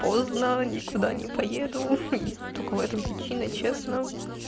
поздно никуда не поеду и только в этом причина честно